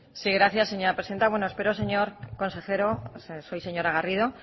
sí gracias señora presidenta bueno espero señor consejero soy señora garrido